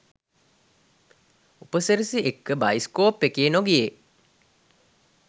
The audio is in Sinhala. උපසිරැසි එක්ක බයිස්කෝප් එකේ නොගියේ